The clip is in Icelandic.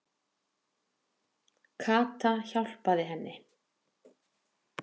Kata hjálpaði henni.